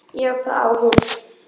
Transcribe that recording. Já, það á hún.